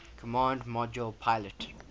command module pilot